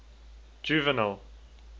juvenal